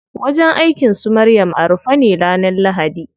Wajen aikin su Maryam a rufe ne ranar lahadi.